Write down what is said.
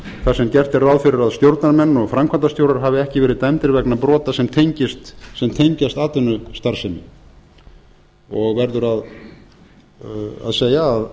þar sem gert er ráð fyrir að stjórnarmenn og framkvæmdastjórar hafi ekki verið dæmdir vegna brota sem tengjast atvinnustarfsemi og verður að segja að